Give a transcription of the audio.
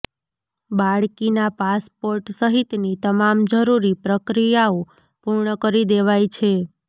બાળકીના passport સહિતની તમામ જરૂરી પ્રક્રિયાઓ પૂર્ણ કરી દેવાઈ છે